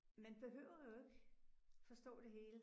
Man behøver jo ikke forstå det hele